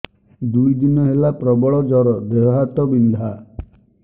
ଦୁଇ ଦିନ ହେଲା ପ୍ରବଳ ଜର ଦେହ ହାତ ବିନ୍ଧା